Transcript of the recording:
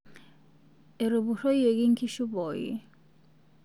Etupuroyieki nkishu pooki